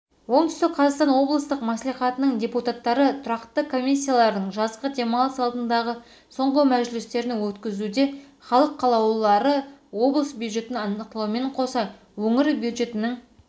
оңтүстік қазақстан облыстық мәслихатының депутаттары тұрақты комиссиялардың жазғы демалыс алдындағы соңғы мәжілістерін өткізуде халық қалаулылары облыс бюджетін нақтылаумен қоса өңір бюджетінің